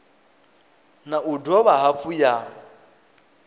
na u dovha hafhu ya